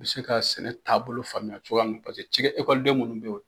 U bɛ se ka sɛnɛ taabolo faamuya cogoya min paseke cikɛ ekɔliden minnu bɛ yen